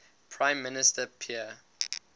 prime minister pierre